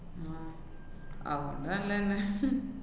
അവര്‍ക്ക് നല്ലന്നെ.